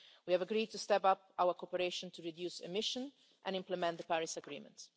We have agreed to step up our cooperation to reduce emissions and implement the Paris Agreement.